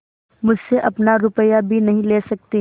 मुझसे अपना रुपया भी नहीं ले सकती